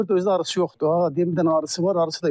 Burda özü arıçısı yoxdur, bir dənə arısı var.